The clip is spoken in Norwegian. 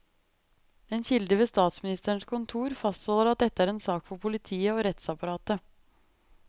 En kilde ved statsministerens kontor fastholdt at dette er en sak for politiet og rettsapparatet.